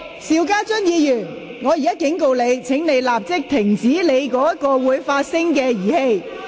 邵家臻議員，我警告你，請立即關掉手上的發聲裝置。